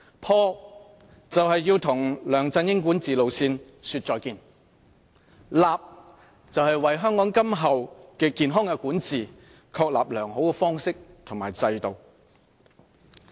"破"是要與梁振英管治路線說再見，"立"是為香港今後健康的管治確立良好的方式和制度。